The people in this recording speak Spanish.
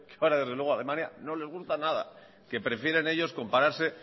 que ahora desde luego alemania no les gusta nada que prefieren ellos compararse